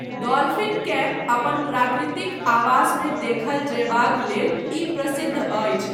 डॉल्फिनकेँ अपन प्राकृतिक आवासमे देखल जयबाक लेल ई प्रसिद्ध अछि।